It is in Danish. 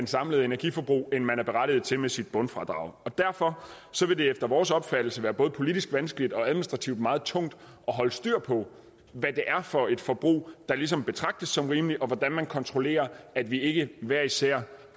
samlede energiforbrug end man er berettiget til med sit bundfradrag og derfor vil det efter vores opfattelse være både politisk vanskeligt og administrativt meget tungt at holde styr på hvad for et forbrug der ligesom betragtes som rimeligt og hvordan man kontrollerer at vi ikke hver især